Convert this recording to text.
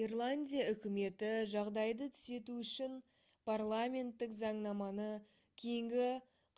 ирландия үкіметі жағдайды түзету үшін парламенттік заңнаманы кейінге